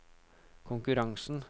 konkurransen